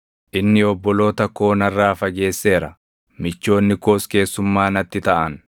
“Inni obboloota koo narraa fageesseera; michoonni koos keessummaa natti taʼan.